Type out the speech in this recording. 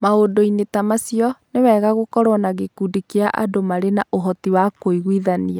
Maũndũ-inĩ ta macio, nĩ wega gũkorũo na gĩkundi kĩa andũ marĩ na ũhoti wa kũiguithania.